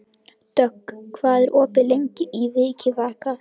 Dögg, hvað er opið lengi í Vikivaka?